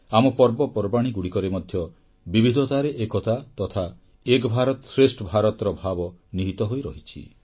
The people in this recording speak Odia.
ଆମ ପର୍ବପର୍ବାଣୀଗୁଡ଼ିକରେ ମଧ୍ୟ ବିବିଧତାରେ ଏକତା ତଥା ଏକ୍ ଭାରତ ଶ୍ରେଷ୍ଠ ଭାରତର ଭାବ ନିହିତ ହୋଇ ରହିଛି